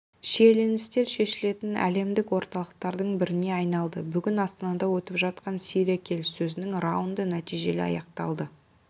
шиеленістер шешілетін әлемдік орталықтардың біріне айналды бүгін астанада өтіп жатқан сирия келіссөзінің раунды нәтижелі аяқталады